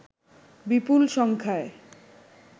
বিপুল সংখ্যায়